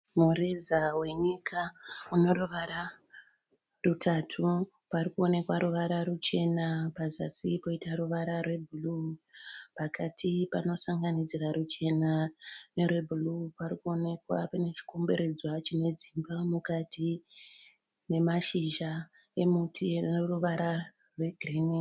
Murezawenyika une ruvara rutatu. Pari kuoneka ruvara ruchena pazasi poita ruvara rwebhuru. Pakati panosanganidzira ruchena nerwe bhuru pari kuonekwa pane chikomberedzwa chine dzimba mukati nemashizha emuti e ruvara rwe girini.